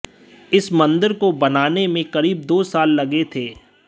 इस मंदिर को बनाने में करीब दो साल लगे थे